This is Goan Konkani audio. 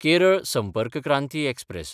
केरळ संपर्क क्रांती एक्सप्रॅस